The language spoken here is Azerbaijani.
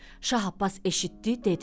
Şah Abbas eşitdi, dedi: